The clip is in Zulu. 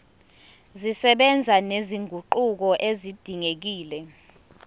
zisebenza nezinguquko ezidingekile